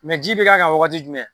ji bɛ k'a kan wagati jumɛn